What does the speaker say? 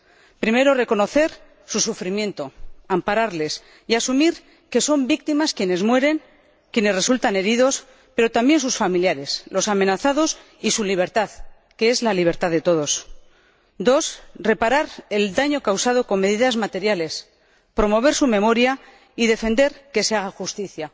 En primer lugar, reconocer su sufrimiento, ampararles y asumir que son víctimas quienes mueren, quienes resultan heridos, pero también sus familiares, los amenazados y su libertad, que es la libertad de todos. En segundo lugar, reparar el daño causado con medidas materiales, promover su memoria y defender que se haga justicia.